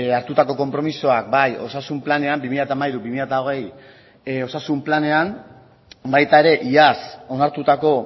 hartutako konpromisoak bai osasun planean bi mila hamairu bi mila hogei osasun planean baita ere iaz onartutako